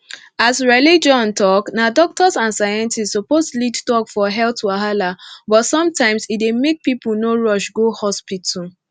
as religion talk na doctors and scientists suppose lead talk for health wahala but sometimes e dey make people no rush go hospital